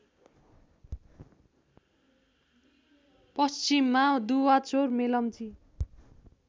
पश्चिममा दुवाचौर मेलम्ची